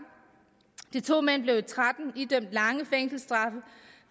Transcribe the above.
de to mænd blev i og tretten idømt lange fængselsstraffe